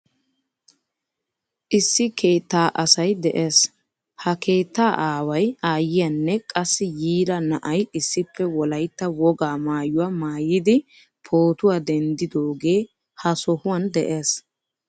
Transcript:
Issi keettaa asay de'ees. He keettaa aaway, aayiyanne qassi yiira na'ay issippe wolaytta wogaa maayuwaa maayidi pootuwaa denddidoge ha sohuwan de'ees.